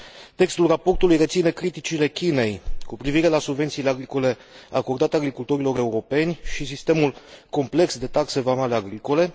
Textul raportului reține criticile Chinei cu privire la subvențiile agricole acordate agricultorilor europeni și sistemul complex de taxe vamale agricole.